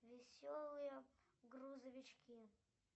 веселые грузовички